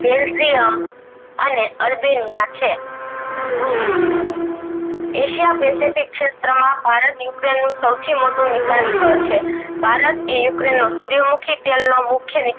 belgium અને Albania છે asia pacific શેત્ર માં ભારત ukraine નું સૌથી મોટું વિકાસ સ્થળ છે. ભારત એ ukraine નો સુરીયામુખી તેલ નો મુખ્ય વિકાસ